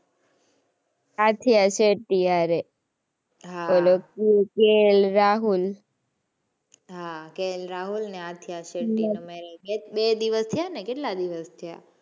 આથિયા શેટ્ટી હારે. ઓલો KL રાહુલ અને આથિયા શેટ્ટી નાં marriage બે દિવસ થયા ને કેટલા દિવસ થયા.